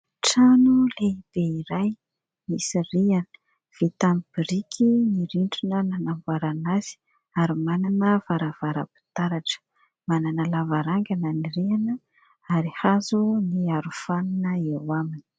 Trano lehibe iray misy rihana vita amin'ny biriky ny rindrina nanamboarana azy ary manana varavara-pitaratra, manana lavarangana ny rihana ary hazo ny arofanina eo aminy.